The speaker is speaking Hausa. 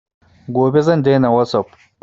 Gobe zan daina wasup